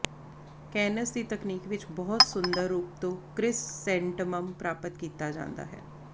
cans ਦੀ ਤਕਨੀਕ ਵਿੱਚ ਬਹੁਤ ਸੁੰਦਰ ਰੂਪ ਤੋਂ ਕ੍ਰਿਸਸੈਂਟਮਮ ਪ੍ਰਾਪਤ ਕੀਤਾ ਜਾਂਦਾ ਹੈ